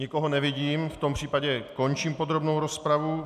Nikoho nevidím, v tom případě končím podrobnou rozpravu.